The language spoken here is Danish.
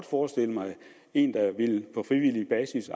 forestille mig en der på frivillig basis